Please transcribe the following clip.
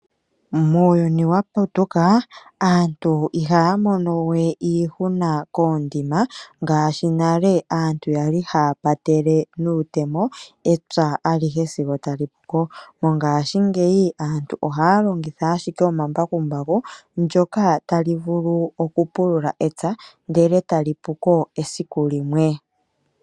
Muuyuni wa putuka aantu ihaya monewe iihuna koondima ngashi nale aantu yali haya nuutemo epya ali he sigo tali puko , mongashingeyi aantu ohaya longitha ashike omambakumbaku ndjoka tali vulu pulula epya ndele etali puko esiku limwe.